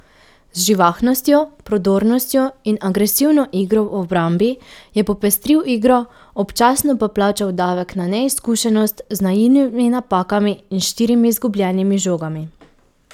Z živahnostjo, prodornostjo in agresivno igro v obrambi je popestril igro, občasno pa plačal davek na neizkušenost z naivnimi napakami in štirimi izgubljenimi žogami.